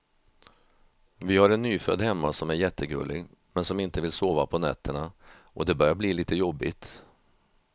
Vi har en nyfödd hemma som är jättegullig, men som inte vill sova på nätterna och det börjar bli lite jobbigt.